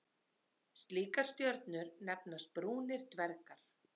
Slíkar stjörnur nefnast brúnir dvergar.